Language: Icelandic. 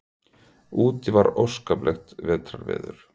Úti var óskaplegt vetrarveður.